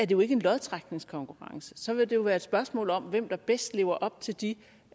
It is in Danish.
jo ikke en lodtrækningskonkurrence så vil det jo være et spørgsmål om hvem der bedst lever op til de